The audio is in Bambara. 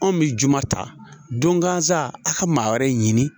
Anw bɛ juma ta don gasa a ka maa wɛrɛ ɲini